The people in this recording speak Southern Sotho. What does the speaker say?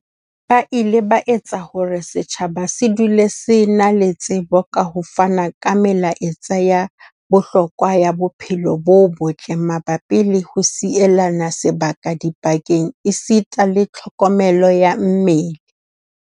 Ba ile ba etsa hore setjhaba se dule se na le tsebo ka ho fana ka melaetsa ya bohlokwa ya bophelo bo botle mabapi le ho sielana sebaka dipakeng esita le tlho komelo ya mmele.